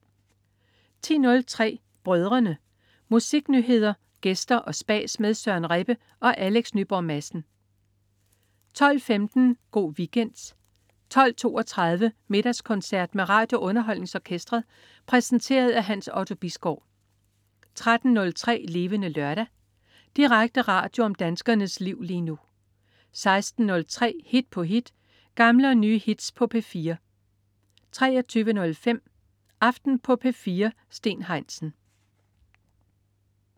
10.03 Brødrene. Musiknyheder, gæster og spas med Søren Rebbe og Alex Nyborg Madsen 12.15 Go' Weekend 12.32 Middagskoncert med RadioUnderholdningsOrkestret. Præsenteret af Hans Otto Bisgaard 13.03 Levende Lørdag. Direkte radio om danskernes liv lige nu 16.03 Hit på hit. Gamle og nye hits på P4 23.05 Aften på P4. Steen Heinsen